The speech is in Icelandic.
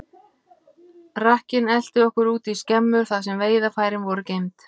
Rakkinn elti okkur út í skemmu, þar sem veiðarfærin voru geymd.